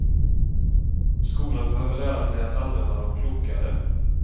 Skolan behöver lära sig att använda dem klokare.